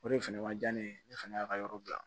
O de fɛnɛ man diya ne ye ne fana y'a ka yɔrɔ bila